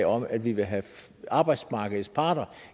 om at vi vil have arbejdsmarkedets parter